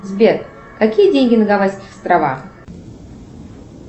сбер какие деньги на гавайских островах